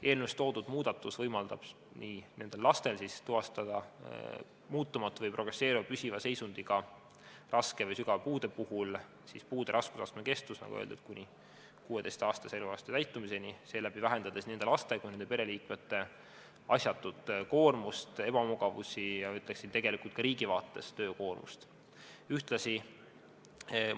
Eelnõus toodud muudatus võimaldab nendel lastel tuvastada muutumatu või progresseeruva püsiva seisundi ka raske või sügava puude puhul ja puude raskusastme kestuse, nagu öeldud, kuni 16. eluaasta täitumiseni, seeläbi vähendades nii nende laste kui ka nende pereliikmete asjatut koormust ja ebamugavusi ning ma ütleksin, et tegelikult töökoormust ka riigi vaates.